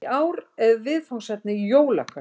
Í ár er viðfangsefnið Jólakötturinn